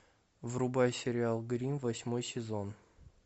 врубай сериал гримм восьмой сезон